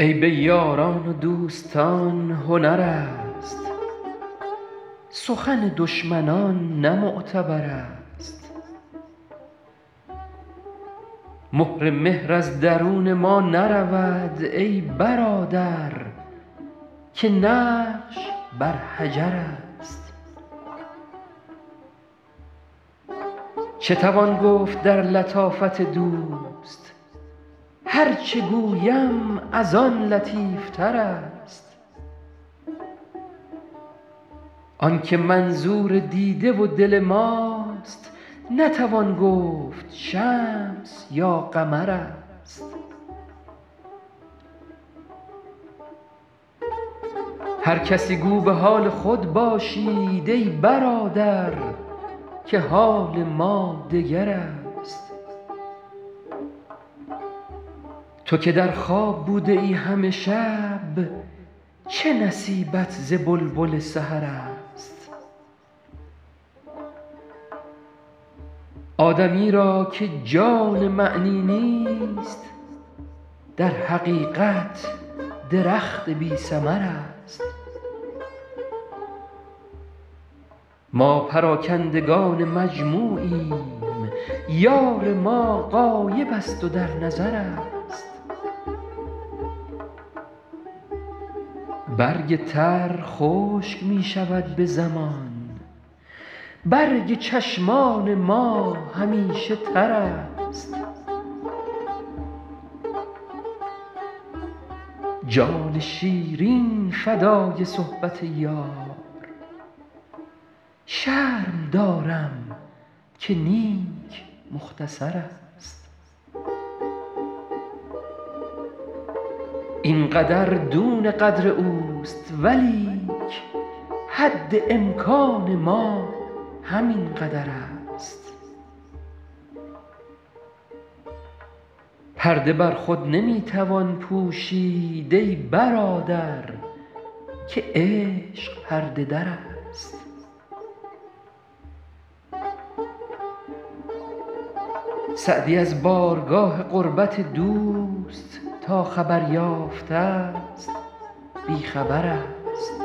عیب یاران و دوستان هنر است سخن دشمنان نه معتبر است مهر مهر از درون ما نرود ای برادر که نقش بر حجر است چه توان گفت در لطافت دوست هر چه گویم از آن لطیف تر است آن که منظور دیده و دل ماست نتوان گفت شمس یا قمر است هر کسی گو به حال خود باشید ای برادر که حال ما دگر است تو که در خواب بوده ای همه شب چه نصیبت ز بلبل سحر است آدمی را که جان معنی نیست در حقیقت درخت بی ثمر است ما پراکندگان مجموعیم یار ما غایب است و در نظر است برگ تر خشک می شود به زمان برگ چشمان ما همیشه تر است جان شیرین فدای صحبت یار شرم دارم که نیک مختصر است این قدر دون قدر اوست ولیک حد امکان ما همین قدر است پرده بر خود نمی توان پوشید ای برادر که عشق پرده در است سعدی از بارگاه قربت دوست تا خبر یافته ست بی خبر است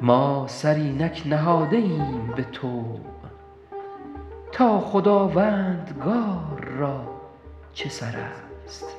ما سر اینک نهاده ایم به طوع تا خداوندگار را چه سر است